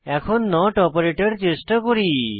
এখন not operator চেষ্টা করি